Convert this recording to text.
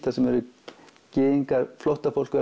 þar sem eru gyðingar flóttafólk